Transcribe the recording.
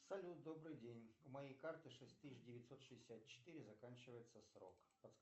салют добрый день у моей карты шесть тысяч девятьсот шестьдесят четыре заканчивается срок